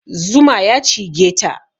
Zuma ya cigeta